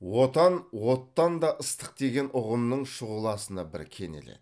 отан оттан да ыстық деген ұғымның шұғыласына бір кенеледі